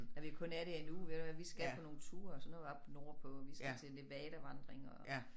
Når vi kun er der en uge ved du hvad vi skal på nogle ture og sådan noget oppe nordpå og vi skal til Levadavandring og